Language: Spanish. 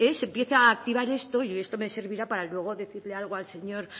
se empieza a activar esto y esto me servirá para luego decirle algo al señor